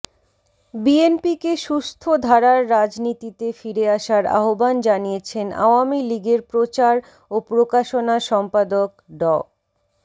বিএনপিকে সুস্থ ধারার রাজনীতিতে ফিরে আসার আহবান জানিয়েছেন আওয়ামী লীগের প্রচার ও প্রকাশনা সম্পাদক ড